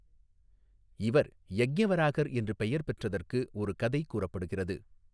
இவர் யக்ஞவராகர் என்று பெயர் பெற்றதற்கு ஒரு கதை கூறப்படுகிறது.